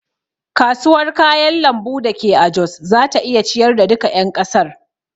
Kasuwar kayan lambu dake a jos zata iya ciyar da duka ƴan kasar.